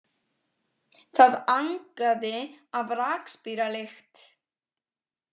Það angaði af rakspíralykt.